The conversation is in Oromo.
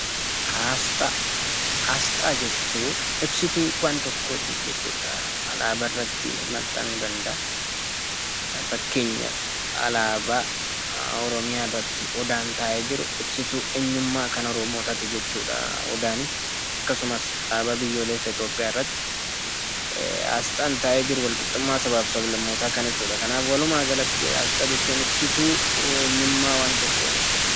Asxaa jechuun ibsituu waanta tokkooti jechuudha. Alaabaa irratti maxxanuu danda'a. Fakkeenyaaf alaabaa Oromiyaa irratti odaan taa'ee jiru ibsituu eenyummaa kan Oromotaati jechuudha odaani. Akkasumas alaabaa biyyoolessa Itoophiyaa irratti asxaan taa'ee jiru walqixxummaa sabaaf sab-lammootaa kan ibsudha. Kanaaf walumaagalatti asxaa jechuun ibsituu eenyummaa waan tokkoo jechuudha.